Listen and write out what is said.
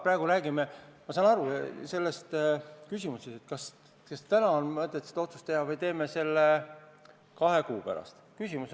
Me räägime praegu kogu aeg sellest, kas on mõtet teha see otsus täna või teha see kahe kuu pärast.